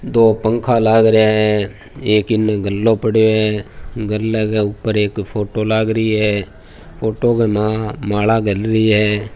दो पंखा लाग रहिया है एक इन गल्लो पड़यो है गल्ले के ऊपर एक फोटो लागरी है फोटो के माय माला गल रही है।